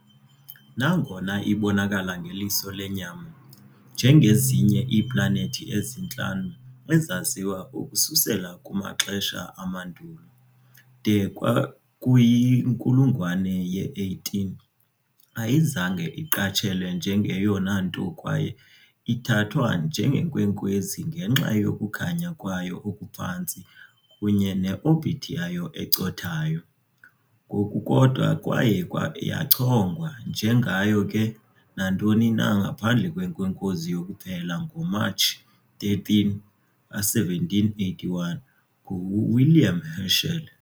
Nangona ibonakala ngeliso lenyama, njengezinye iiplanethi ezintlanu ezaziwa ukususela kumaxesha amandulo, de kwakuyinkulungwane ye-18 ayizange iqatshelwe njengeyona nto kwaye ithathwa njengenkwenkwezi ngenxa yokukhanya kwayo okuphantsi kunye ne-orbit yayo ecothayo ngokukodwa kwaye yachongwa. Njengayo nantoni na ngaphandle kwenkwenkwezi yokuphela ngoMatshi 13, 1781 nguWilliam Herschel.